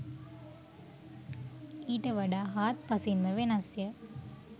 ඊට වඩා හාත් පසින්ම වෙනස්ය.